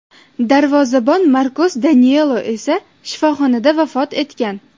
Darvozabon Markos Danilo esa shifoxonada vafot etgan.